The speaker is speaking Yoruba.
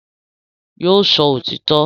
Yóò sọ òtítọ́